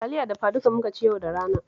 Taliya dafaduka muka ci yau da rana